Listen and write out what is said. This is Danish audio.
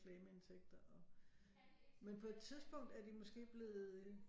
Reklameindtægter og men på et tidspunkt er de måske blevet